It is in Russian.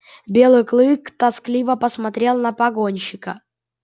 белый клык тоскливо посмотрел на погонщика